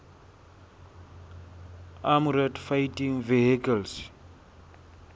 armoured fighting vehicles